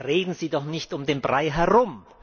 Reden Sie doch nicht um den Brei herum!